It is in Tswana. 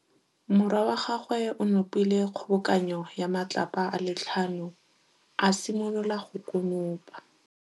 Morwa wa gagwe o nopile kgobokanô ya matlapa a le tlhano, a simolola go konopa.